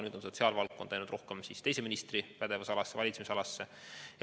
Nüüd on sotsiaalvaldkond läinud rohkem teise ministri valitsemisalasse.